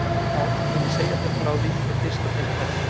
Ef ekki þá mun ég segja þér frá því við fyrsta tækifæri.